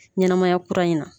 Ɲɛnamaya kura in na